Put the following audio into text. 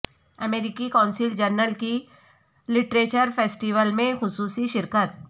امریکی قونصل جنرل کی لٹریچر فیسٹیول میں خصوصی شرکت